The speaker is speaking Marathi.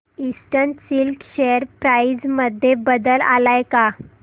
ईस्टर्न सिल्क शेअर प्राइस मध्ये बदल आलाय का